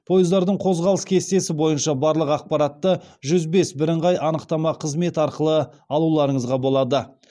пойыздардың қозғалыс кестесі бойынша барлық ақпаратты жүз бес бірыңғай анықтама қызметі арқылы алуларыңызға болады